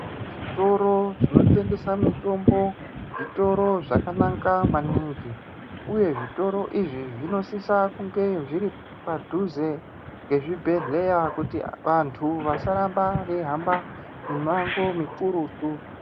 Zvitoro zvinotengese mitombo zvitoro zvakanaka maningi uye zvitoro izvi zvinosisa kunge zviri padhuze ngezvibhedhleya kuti vantu vasaramba veihamba mimango mikurutu.